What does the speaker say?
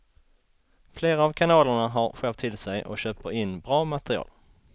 Flera av kanalerna har skärpt till sig och köper in bra material.